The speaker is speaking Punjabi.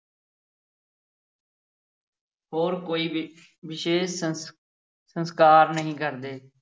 ਹੋਰ ਕੋਈ ਵਿ ਵਿਸ਼ੇਸ਼ ਸੰਸ ਸੰਸਕਾਰ ਨਹੀਂ ਕਰਦੇ।